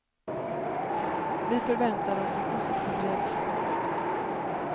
Vi förväntade oss en positiv reaktion.